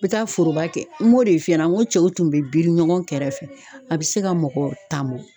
N be taa foroba kɛ n b'o de f'i ɲɛna n ko cɛw tun bɛ biri ɲɔgɔn kɛrɛfɛ a bɛ se ka mɔgɔ tan bɔ.